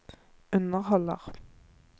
underholder